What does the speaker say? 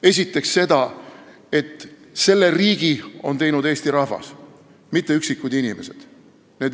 Esiteks seda, et selle riigi on teinud Eesti rahvas, mitte üksikud inimesed.